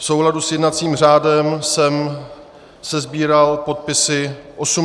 V souladu s jednacím řádem jsem sesbíral podpisy 86 poslanců.